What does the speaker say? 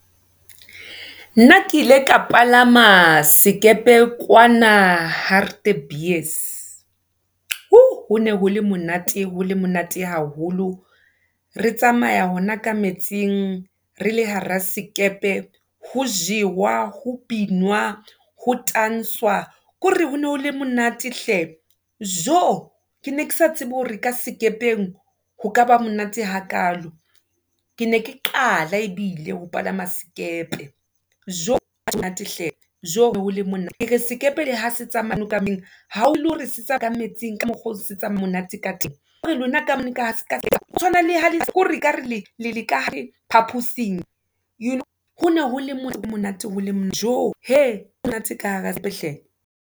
Nna ke ile ka palama sekepe kwana Hartebees, , ho ne ho le monate, ho le monate haholo. Re tsamaya hona ka metsing re le hara sekepe ho jewa, ho binwa, ho tanswa, ke hore ho no le monate hle. Jo ke ne ke sa tsebe hore ka sekepeng ho kaba monate hakalo, ke ne ke qala ebile ho palama sekepe. Jo monate hle, tjo, kere sekepe le ha se tsamaya ha o le hore setswa ka metsing, ka mokgwa o se monate ka teng, ke hore lona ka mona tswana ke hore, le le ka phaposing, . Jo monate ka hle.